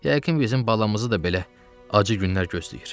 Yəqin bizim balamızı da belə acı günlər gözləyir.